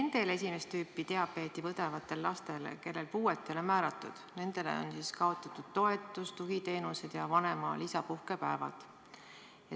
Nende esimest tüüpi diabeeti põdevate laste puhul, kellele puudeastet ei ole määratud, on kaotatud toetus, tugiteenused ja vanema lisapuhkepäevad.